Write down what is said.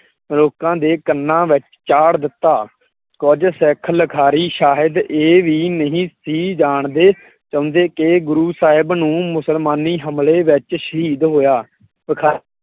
ਲੋਕਾਂ ਦੇ ਕੰਨਾਂ ਵਿੱਚ ਚਾੜ ਦਿੱਤਾ। ਕੁਝ ਸਿੱਖ ਲਿਖਾਰੀ ਸ਼ਾਇਦ ਇਹ ਵੀ ਨਹੀਂ ਸੀ ਜਾਣਦੇ ਚਾਹੁੰਦੇ ਕਿ ਗੁਰੁ ਸਾਹਿਬ ਨੂੰ ਮੁਸਲਮਾਨੀ ਹਮਲੇ ਵਿੱਚ ਸ਼ਹੀਦ ਹੋਇਆ